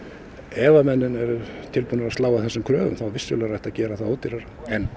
ef menn eru tilbunir að slá af þessum kröfum þá vissulega er hægt að gera það ódýrara